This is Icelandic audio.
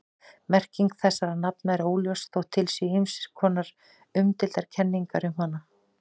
Merking þessara nafna er óljós þótt til séu ýmsar nokkuð umdeildar kenningar um hana.